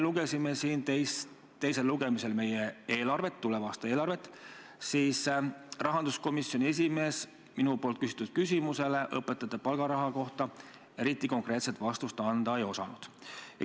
Kui me siin teisel lugemisel meie eelarvet, tuleva aasta eelarvet, lugesime, siis rahanduskomisjoni esimees minu küsimusele õpetajate palgaraha kohta eriti konkreetset vastust anda ei osanud.